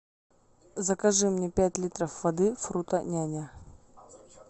закажи мне пять литров воды фруто няня